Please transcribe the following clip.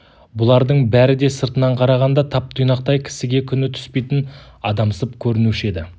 бұлардың бәрі де сыртынан қарағанда тап-тұйнақтай кісіге күні түспейтін адамсып көрінуші еді